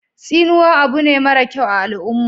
Tsinuwa abu ne mara kyau a al'uma